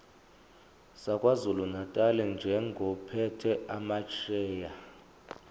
sakwazulunatali njengophethe amasheya